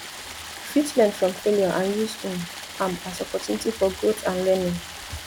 you fit learn from failure and use um am as opportunity for growth and learning